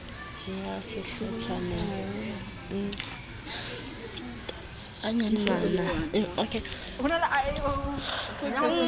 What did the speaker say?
ya sehlotshwana e tadimana le